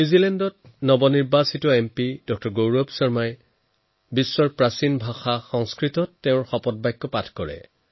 নিউজিলেণ্ডৰ নৱনিৰ্বাচিত সাংসদ ড০ গৌৰৱ শৰ্মাই বিশ্বৰ প্ৰাচীন ভাষাসমূহৰ অন্যতম সংস্কৃত ভাষাত শপত গ্ৰহণ কৰে